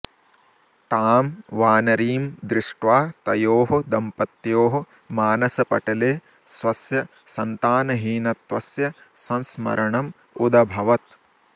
तां वानरीं दृष्ट्वा तयोः दम्पत्योः मानसपटले स्वस्य सन्तानहीनत्वस्य संस्मरणम् उदभवत्